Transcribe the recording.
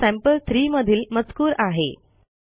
हा सॅम्पल3 मधील मजकूर आहे